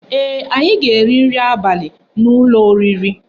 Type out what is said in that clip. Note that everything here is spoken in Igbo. Ee, anyị ga-eri nri abali n'ụlọ oriri